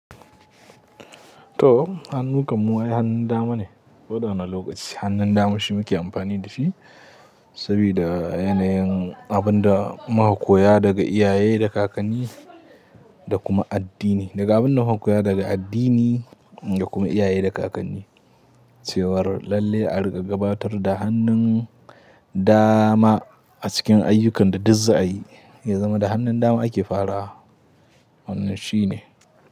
To, hannu kam mu ai hannun dama ne. Ko da wannne lokaci hannun dama shi muke amfani da shi saboda yanayin abinda muka koya daga iyaye da kakanni da kuma addini. Daga abinda muka koya daga addini da kuma iyaye da kakanni cewar lalle a rika gabatar da hannun dama a cikin ayyukan da duk za ayi, ya zama da hannun dama ake farawa. Wannan shi ne.